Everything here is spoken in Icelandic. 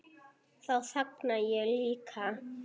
Þá þagna ég líka.